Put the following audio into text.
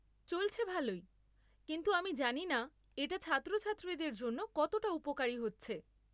চলছে ভালোই, কিন্তু আমি জানিনা এটা ছাত্রছাত্রীদের জন্য কতটা উপকারী হচ্ছে।